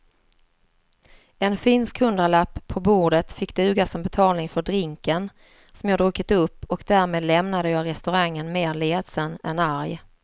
En finsk hundralapp på bordet fick duga som betalning för drinken som jag druckit upp och därmed lämnade jag restaurangen mer ledsen än arg.